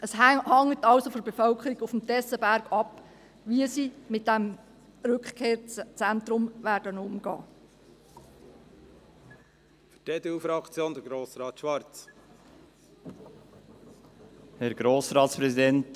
Es hängt somit von der Bevölkerung auf dem Tessenberg ab, wie sie mit dem Rückkehrzentrum umgehen wird.